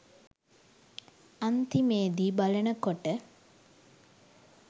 අන්තිමෙදි බලනකොට